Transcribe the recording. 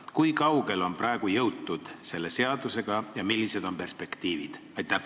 Kui kaugele on selle seaduseelnõuga jõutud ja millised on perspektiivid?